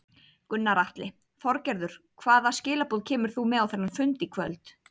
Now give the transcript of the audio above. Gunnar Atli: Þorgerður hvaða skilaboð kemur þú með á þennan fund í kvöld?